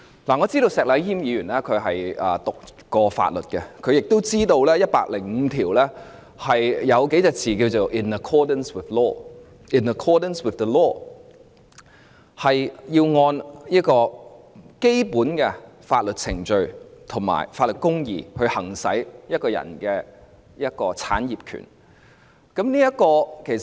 我知道石禮謙議員唸過法律，相信他亦知道第一百零五條的字眼是 "in accordance with law"， 即是要按照基本的法律程序和法律公義行使一個人的產業權。